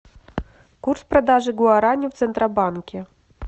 курс продажи гуарани в центробанке